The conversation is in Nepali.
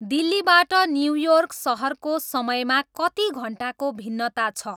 दिल्लीबाट न्युयोर्क सहरको समयमा कति घन्टाको भिन्नता छ